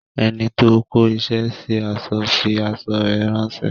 Enito kó isẹ sí aṣọ fi aṣọ rè ránsẹ́